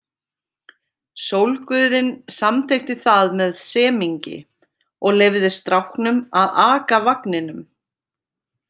Sólguðinn samþykkti það með semingi og leyfði stráknum að aka vagninum.